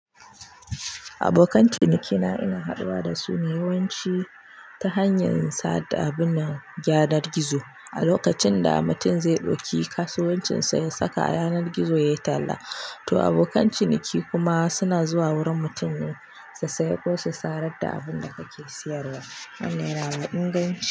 Abokan cinikina ina haɗuwa da su ne yawanci ta hanyar sa da abin nan yanar gizo. A lokacin da mutum zai ɗauki kasuwancinsa ya saka a yanar gizo ya yi talla, to abokan ciniki kuma suna zuwa wurin mutumin su saye ko su sarar da abun da kake siyarwa. Wannan yanada inganci.